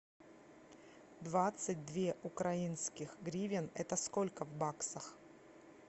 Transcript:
двадцать две украинских гривен это сколько в баксах